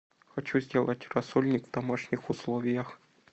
хочу сделать рассольник в домашних условиях